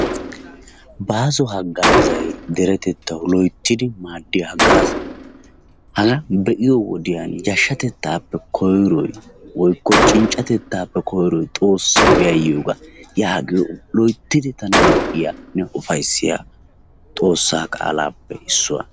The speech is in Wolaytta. Bàaso haggaazayi deretettawu loyttidi maaddiya haggaaza. Hagaa be'iyo wodiyan yashshatettaappe koyroyi woykko cinccatettaappe koyroyi xoossawu yayyiyogaa yaagiyo loyttidi tana lo'iyanne ufayssiya Xoossaa qaalaappe issuwa.